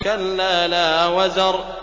كَلَّا لَا وَزَرَ